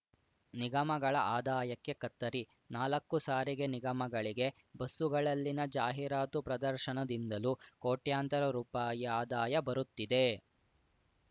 ನಿಗಮಗಳ ಆದಾಯಕ್ಕೆ ಕತ್ತರಿ ನಾಲಕ್ಕು ಸಾರಿಗೆ ನಿಗಮಗಳಿಗೆ ಬಸ್ಸುಗಳಲ್ಲಿನ ಜಾಹೀರಾತು ಪ್ರದರ್ಶನದಿಂದಲೂ ಕೋಟ್ಯಂತರ ರುಪಾಯಿ ಆದಾಯ ಬರುತ್ತಿದೆ